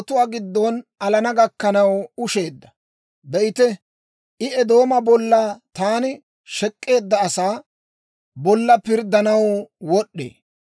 Ta mashshay salotuwaa giddon alana gakkanaw ushsheedda. Be'ite, I Eedooma bolla, taani shek'k'eedda asaa bolla pirddanaw wod'd'ee.